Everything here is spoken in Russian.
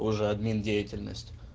боже админ деятельность